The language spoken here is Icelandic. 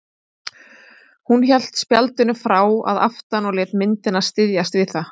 Hún hélt spjaldinu frá að aftan og lét myndina styðjast við það.